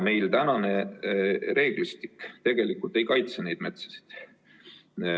Meie reeglistik tegelikult ei kaitse neid metsi.